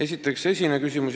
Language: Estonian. Kõigepealt esimene küsimus.